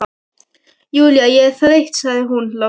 Júlía, ég er þreytt sagði hún loks.